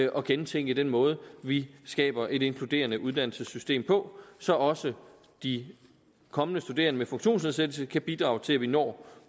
at gentænke den måde vi skaber et inkluderende uddannelsessystem på så også de kommende studerende med funktionsnedsættelse kan bidrage til at vi når